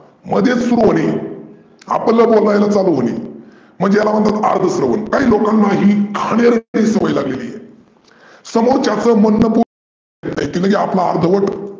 मध्येचं सुरू होणे आपलं बोलायला चालू होने म्हणजे याला म्हणतात अर्ध स्रवन. काही लोकांना ही घानेर्डी सवय लागलेली आहे. समोरच्याच म्हणनं पु की लगे आपलं अर्धवट.